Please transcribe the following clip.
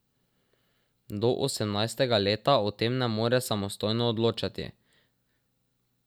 Do osemnajstega leta o tem ne more samostojno odločati.